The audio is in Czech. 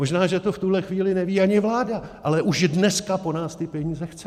Možná že to v tuhle chvíli neví ani vláda, ale už dneska po nás ty peníze chce!